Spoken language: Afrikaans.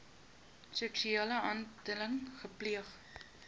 seksuele handeling gepleeg